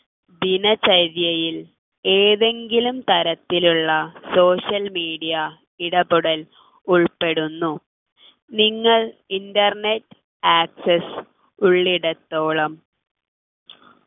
ദിനചര്യയിൽ ഏതെങ്കിലും തരത്തിലുള്ള social media ഇടപെടൽ ഉൾപ്പെടുന്നു നിങ്ങൾ internet access ഉള്ളിടത്തോളം